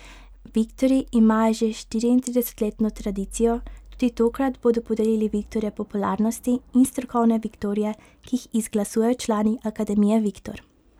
Viktorji imajo že štiriintridesetletno tradicijo, tudi tokrat bodo podelili viktorje popularnosti in strokovne viktorje, ki jih izglasujejo člani Akademije Viktor.